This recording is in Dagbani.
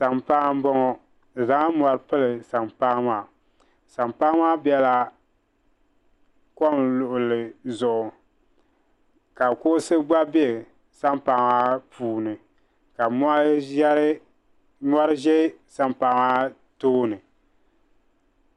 Sampaa m-bɔŋɔ bɛ zaŋla mɔri pili sampaa maa sampaa maa bela kom luɣili zuɣu ka kuɣusi gba be sampaa maa puuni ka mɔri ʒe sampaa maa tooni.